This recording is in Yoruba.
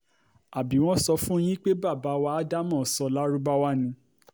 àbí wọ́n sọ fún yín pé bàbá wa ádámọ̀ sọ lárúbáwá ni